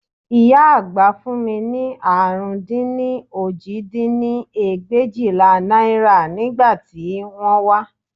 Ìyá àgbà fún mi ní àrún dín ní òjì dín ní ẹgbẹ̀éjìlá náírà ní ìgbà tí wọ́n wá